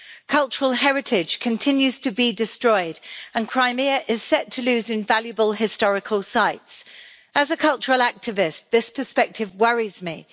Cultural heritage continues to be destroyed, and Crimea is set to lose invaluable historical sites. As a cultural activist, this perspective worries me.